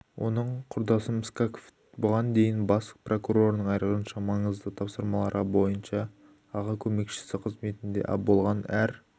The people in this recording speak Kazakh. оның құрдасым скаков бұған дейін бас прокурорының айрықша маңызды тапсырмалары бойынша аға көмекшісі қызметінде болған әр